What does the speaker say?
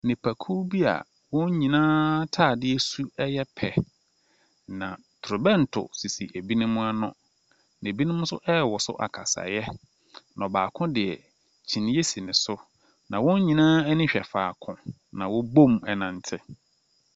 Nipakuw bi a wɔn nyinaa atre so yɛ pɛ. Na totrobɛnto sisi binom ano, na binom nso rewoso akasaeɛ, na baako deɛ kyiniiɛ soi ne so. Na wɔn nyinaa ani hwɛ faako, na wɔabom renante.